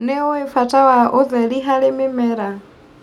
Nĩũĩ bata wa ũtheri harĩ mĩmera.